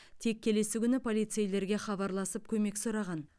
тек келесі күні полицейлерге хабарласып көмек сұраған